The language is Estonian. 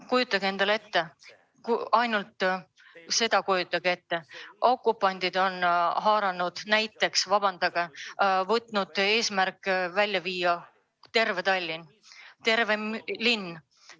Kujutage endale ette, kui okupandid võtaksid eesmärgiks viia välja Tallinna, terve linna.